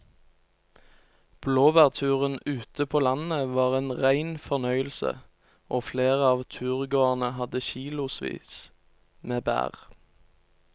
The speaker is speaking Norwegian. Blåbærturen ute på landet var en rein fornøyelse og flere av turgåerene hadde kilosvis med bær.